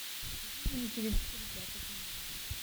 покажи мне на телевизоре пятый канал